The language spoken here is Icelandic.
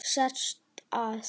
Sest að.